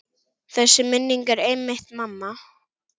Þessi minning er einmitt mamma.